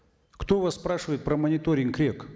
кто вас спрашивает про мониторинг рек